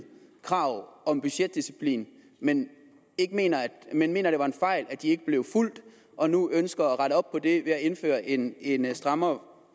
krav om budgetdisciplin men mener men mener det var en fejl at de ikke blev fulgt og nu ønsker at rette op på det ved at indføre en en strammere